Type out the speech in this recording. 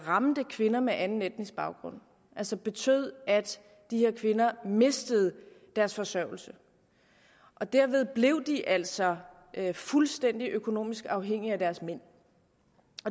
ramte kvinder med anden etnisk baggrund altså betød at de her kvinder mistede deres forsørgelse og derved blev de altså fuldstændig økonomisk afhængige af deres mænd